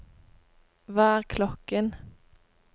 hva er klokken